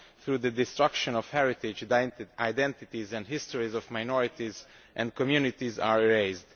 Through the destruction of heritage, the identities and histories of minorities and communities are erased.